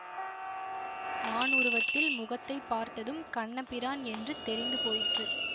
ஆண் உருவத்தில் முகத்தை பார்த்ததும் கண்ணபிரான் என்று தெரிந்து போயிற்று